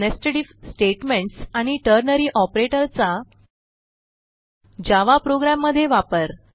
nested if statements आणि ternary operator चा Java program मधे वापर